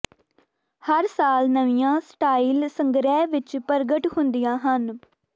ਹਰ ਸਾਲ ਨਵੀਆਂ ਸਟਾਈਲ ਸੰਗ੍ਰਹਿ ਵਿੱਚ ਪ੍ਰਗਟ ਹੁੰਦੀਆਂ ਹਨ